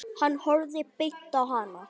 Hann horfði beint á hana.